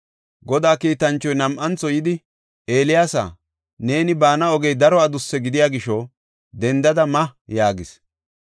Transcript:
Godaa kiitanchoy nam7antho yidi, “Eeliyaasa, neeni baana ogey daro adusse gidiya gisho, dendada ma” yaagis.